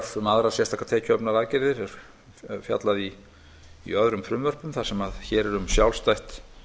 um aðrar sérstakar tekjuöflunaraðgerðir er fjallað í öðrum frumvörpum þar sem hér er um að ræða sjálfstætt